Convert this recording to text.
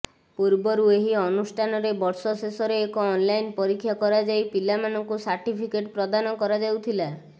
ପୂର୍ବରୁ ଏହି ଅନୁଷ୍ଠାନରେ ବର୍ଷ ଶେଷରେ ଏକ ଅନଲାଇନ୍ ପରୀକ୍ଷା କରାଯାଇ ପିଲାମାନଙ୍କୁ ସାର୍ଟିଫିକେଟ୍ ପ୍ରଦାନ କରାଯାଉଥିଲା